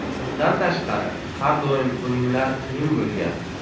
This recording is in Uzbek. Bundan tashqari, har doim o‘yinlar qiyin bo‘lgan.